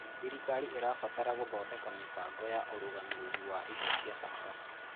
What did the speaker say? Thirikari ĩrabatara gũthondeka mĩbango ya ũrũgamĩrĩri wa indo cia bata.